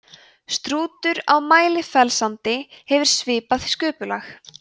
strútur á mælifellssandi hefur svipað sköpulag